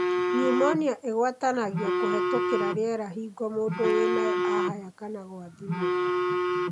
Pneumonia igwatanagio kũhetũkĩra riera hĩngo mũndũ wĩnayo ahaya kana gwathimũra.